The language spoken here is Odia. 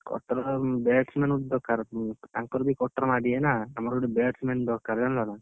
Cutter ଆଉ batsman ବି ଦରକାର ତାଙ୍କର ବି cutter ମାରିବେ ନା ଆମର ଗୋଟେ batsman ଦରକାର ଜାଣିଲ ନା!